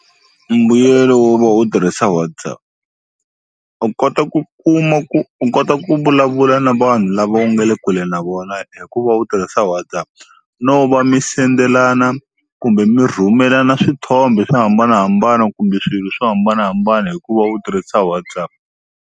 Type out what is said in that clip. Mbuyelo wo va u tirhisa WhatsApp u kota ku kuma ku u kota ku vulavula na vanhu lava u nga le kule na vona hi ku va u tirhisa WhatsApp no va mi sendelana kumbe mi rhumelana swithombe swo hambanahambana kumbe swilo swo hambanahambana hi ku va u tirhisa WhatsApp.